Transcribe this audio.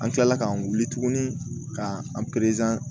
An kilala k'an wuli tuguni ka an